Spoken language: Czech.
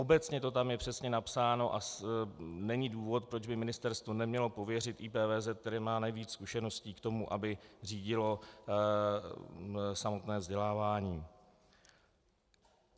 Obecně to tam je přesně napsáno a není důvod, proč by ministerstvo nemělo pověřit IPVZ, který má nejvíc zkušeností, k tomu, aby řídil samotné vzdělávání.